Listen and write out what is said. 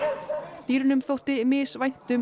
gæludýranna dýrunum þótti